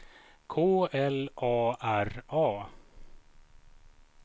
K L A R A